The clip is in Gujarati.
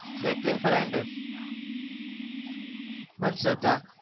જેકલીન ફર્નાન્ડિસ, મને શ્રધ્ધા.